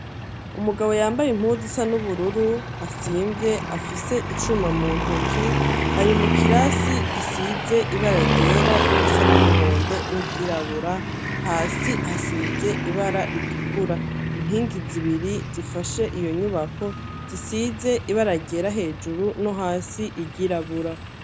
Umugabo yambaye impuzu zisa n'ubururu asiyve afise icuma mu ntoki, ari mu kirasi gisize ibara ryera n'irisa n'umuhondo n'iryirabura, hasi hasize ibara ritukura inkingi zibiri zifashe iyo nyubako zisize ibara ryera hejuru no hasi iryirabura.